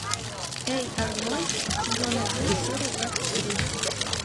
эй арнольд сезон один серия двадцать три